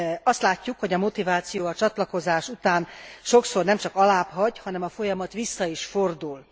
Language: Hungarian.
Azt látjuk, hogy a motiváció a csatlakozás után sokszor nem nemcsak alábbhagy, hanem a folyamat vissza is fordul.